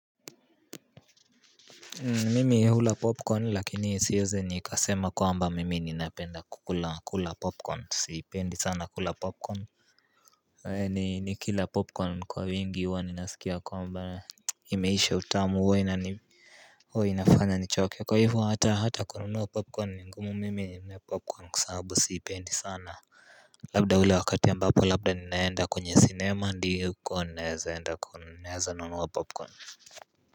Mimi hula popcorn lakini siezi nikasema kwamba mimi ninapenda kukulakula popcorn. Siipendi sana kula popcorn. Nikila popcorn kwa wingi huwa ninasikia kwamba Imeisha utamu, huwa inani, huwa inafanya nichoke. Kwa hivyo hata, hata kununuwa popcorn ni ngumu mimi ninunue popcorn kwa sababu siipendi sana. Labda ule wakati ambapo labda ninaenda kwenye sinema ndiko ninaeza enda kununua, naeza nunua popcorn.